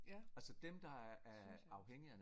Ja det synes jeg også